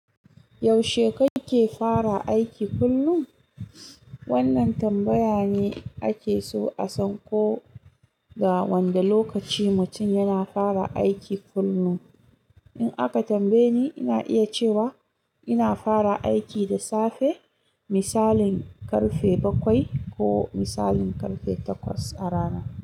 Yaushe kake fara aiki kullum? Wannan tambaya ne ake so a san ko ga wanda lokaci mutum yana fara aiki kullum. In aka tambaye ni, ina iya cewa ina fara aiki da safe, misalin karfe bakwai ko misalin karfe takwas a rana.